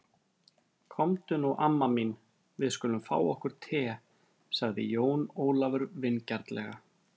Komdu nú amma mín, við skulum fá okkur te, sagði Jón Ólafur vingjarnlega.